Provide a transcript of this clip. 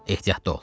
Ehtiyatlı ol.